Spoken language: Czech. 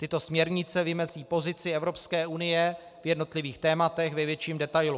Tyto směrnice vymezí pozici Evropské unie v jednotlivých tématech ve větším detailu.